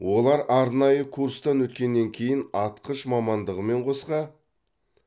олар арнайы курстан өткеннен кейін атқыш мамандығымен қоса